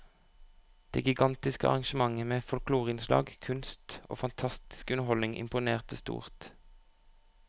Det gigantiske arrangementet med folkloreinnslag, kunst og fantastisk underholdning imponerte stort.